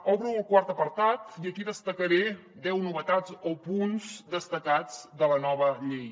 obro el quart apartat i aquí destacaré deu novetats o punts destacats de la nova llei